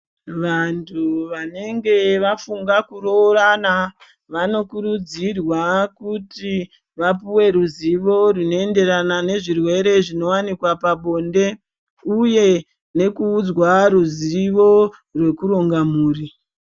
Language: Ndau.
Vantu vanenge vafunga kuroorana vanokurudzirwa kuti vapuwe ruzivo rinoenderana nezvirwere zvinowanikwa pabonde uye nekuudzwa ruzivo rekuronga mhuri.